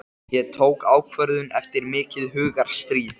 Ég tók ákvörðun eftir mikið hugarstríð.